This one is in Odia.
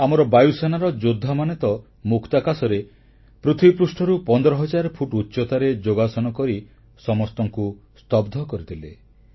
ଆମର ବାୟୁସେନାର ଯୋଦ୍ଧାମାନେ ତ ମୁକ୍ତାକାଶରେ ପୃଥିବୀପୃଷ୍ଠରୁ 15 ହଜାର ଫୁଟ ଉଚ୍ଚତାରେ ଯୋଗାସନ କରି ସମସ୍ତଙ୍କୁ ସ୍ତବ୍ଧ କରିଦେଲେ